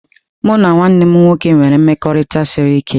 Mụ na nwanne m nwoke nwere mmekọrịta siri ike.